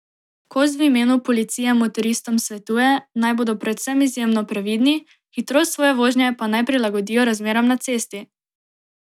Kos v imenu policije motoristom svetuje, naj bodo predvsem izjemno previdni, hitrost svoje vožnje pa naj prilagodijo razmeram na cesti!